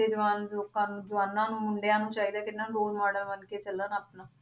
ਜਵਾਨ ਲੋਕਾਂ ਨੂੰ ਜਵਾਨਾਂ ਨੂੰ ਮੁੰਡਿਆਂ ਨੂੰ ਚਾਹੀਦਾ ਹੈ ਕਿ ਇਹਨਾਂ ਨੂੰ ਰੋਲ model ਮੰਨਕੇ ਚੱਲਣ ਆਪਣਾ